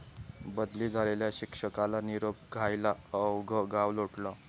बदली झालेल्या शिक्षकाला निरोप द्यायला अवघं गाव लोटलं!